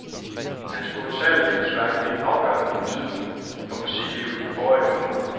Hans kolossale livsværk fik afgørende betydning for musiklivet i forrige århundrede.